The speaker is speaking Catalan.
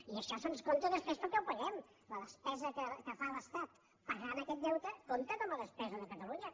i això se’ns compta després perquè ho paguem la despesa que fa l’estat pagant aquest deu·te compte com a despesa de catalunya